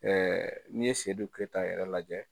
Ɛɛ n'i ye sedu keyita yɛrɛ lajɛ